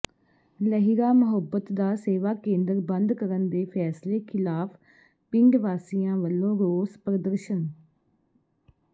ਲਹਿਰਾ ਮੁਹੱਬਤ ਦਾ ਸੇਵਾ ਕੇਂਦਰ ਬੰਦ ਕਰਨ ਦੇ ਫ਼ੈਸਲੇ ਿਖ਼ਲਾਫ਼ ਪਿੰਡ ਵਾਸੀਆਂ ਵਲੋਂ ਰੋਸ ਪ੍ਰਦਰਸ਼ਨ